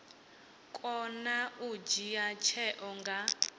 kona u dzhia tsheo nga